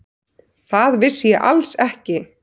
Það vissi ég alls ekki.